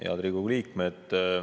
Head Riigikogu liikmed!